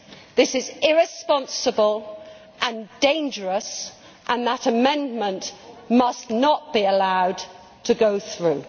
This is irresponsible and dangerous, and that amendment must not be allowed to go through.